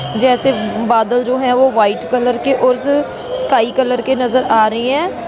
जैसे बादल जो है वह व्हाइट कलर की और स्काई कलर के नजर आ रहे है।